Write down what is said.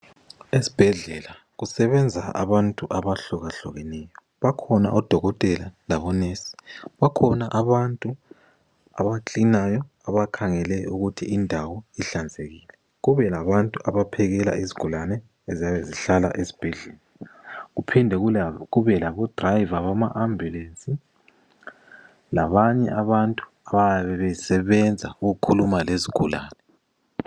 Esibhedlela kusebenza abantu abahlukahlukeneyo bakhona odokotela labonesi, bakhona abantu abacleaneryo abakhangela ukuthi indawo ihlanzekile kube labantu abaphekela izigulane eziyabe zihlala esibhedlela. Kuphinde kube labatshayeli bamaambulensi labanye abantu abayabe besebenza ukukhuluma lezigulane.